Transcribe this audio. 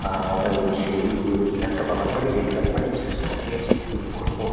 আর এই সিরি এই একটা বাগান বাড়ি দেখলাম মানে যা সাজিয়েছে কি বলবো।